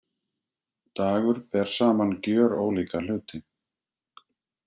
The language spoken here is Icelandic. Dagur ber saman gjörólíka hluti